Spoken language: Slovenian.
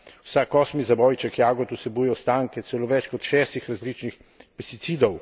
Vsak osmi zabojček jagod vsebuje ostanke celo več kot šestih različnih pesticidov.